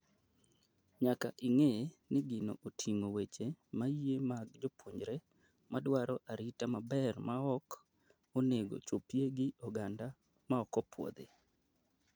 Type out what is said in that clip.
Nyaka ing'e ni gino oting'o weche maiye mag jopuonjre madwar arita maber maok onego chopie gi oganda maok opuodhi.